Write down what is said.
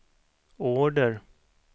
order